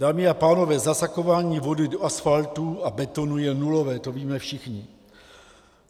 Dámy a pánové, zasakování vody do asfaltu a betonu je nulové, to víme všichni.